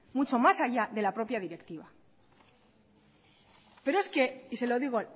mucho más allá de la propia directiva pero es que y se lo digo